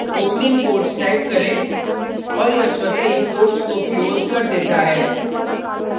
opening quotes type करें और यह स्वतः ही quotes को closes कर देता है